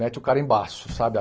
Mete o carimbaço, sabe a?